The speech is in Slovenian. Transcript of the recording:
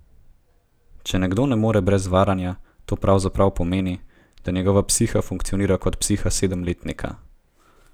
Če nekdo ne more brez varanja, to pravzaprav pomeni, da njegova psiha funkcionira kot psiha sedemletnika.